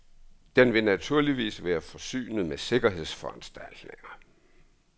Den vil naturligvis være forsynet med sikkerhedsforanstaltninger.